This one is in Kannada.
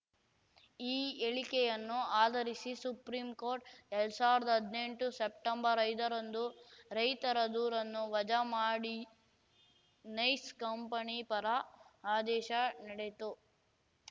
ಈ ಹೇಳಿಕೆಯನ್ನು ಆಧರಿಸಿ ಸುಪ್ರೀಂ ಕೋರ್ಟ್ ಎರಡ್ ಸಾವಿರ್ದಾ ಹದ್ನೆಂಟು ಸೆಪ್ಟೆಂಬರ್ ಐದ ರಂದು ರೈತರ ದೂರನ್ನು ವಜಾ ಮಾಡಿ ನೈಸ್ ಕಂಪನಿ ಪರ ಆದೇಶ ನೀಡಿತು